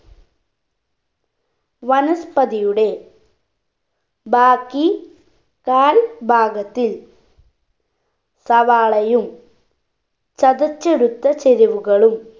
വനസ്പതിയുടെ ബാക്കി കാൽ ഭാഗത്തിൽ സവാളയും ചതച്ചെടുത്ത ചേരുവകളും